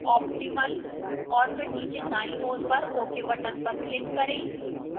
optimal और फिर नीचे दाईं ओर पर ok button पर click करें